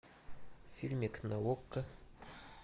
фильмик на окко